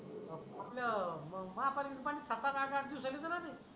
आपल म महापालिकेचं पाणी सात, आठ, आठ-आठ दिवसानी येत न रे